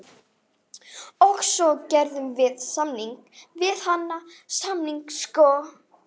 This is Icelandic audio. Trékyllisvík og vogskorna ströndina, alla leið út á Gjögur.